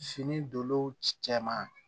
Fini dow cɛ ma